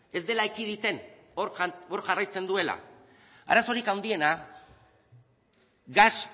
ez dela ekiditen hor jarraitzen duela arazorik handiena gas